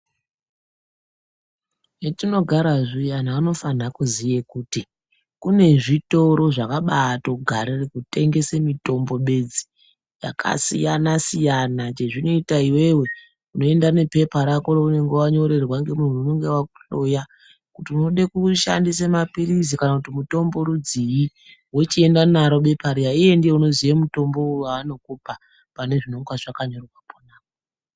Hetinogara zviya anhu anofane kuziye kuti kune zvitoro zvakabatogarire kutengese mitombo bedzi, yakasiyana siyana. Chezvinoita iwewe unoenda nepepa rako reunonga wanyorerwa ngemunhu unonga akuhloya kuti unode kushandise mapirizi kana kuti mutombo rudzii .Wochienda naro bepa riyana, iye ndiye unoziya mutombo waanokupa pane zvinenge zvakanyoewa pona.